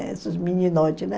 Essas